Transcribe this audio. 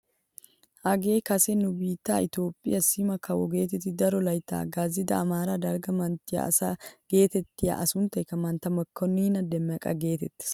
Hagee kase nu biittee itoophpheessi sima kawo getettidi daro layttaa hagaazzida amaara dalgga manttiyaa asa getettiyaa a sunttaykka mantta mokoniina demeqa getettees!